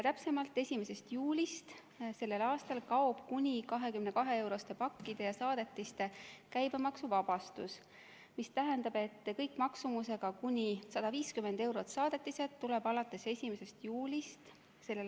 Täpsemalt, 1. juulist sellel aastal kaob kuni 22-euroste pakkide ja saadetiste käibemaksuvabastus, mis tähendab, et kõik maksumusega kuni 150 eurot saadetised tuleb alates 1. juulist s.